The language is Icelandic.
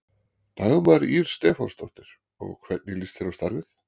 Dagmar Ýr Stefánsdóttir: Og hvernig líst þér á starfið?